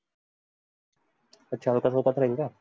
आच्छा अलका चौकात राहील काय?